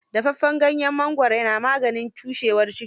Dafaffen ganyen mangwaro na maganin cushewar ciki.